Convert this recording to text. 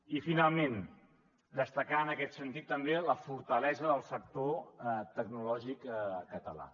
i finalment destacar en aquest sentit també la fortalesa del sector tecnològic català